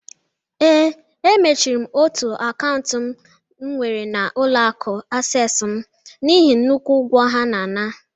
Ee, emechiri m otu akaụntụ m nwere na ụlọ akụ Asess m n'ihi nnukwu ụgwọ ha na-ana